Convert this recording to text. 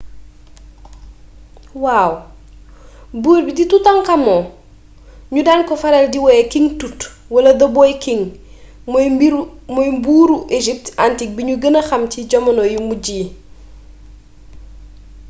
waaw buur bii di toutankhamon ñu daan ko faral di woowe king tut wala the boy king mooy buuru égypte antique bi ñu gëna xam ci jamono yu mujj yi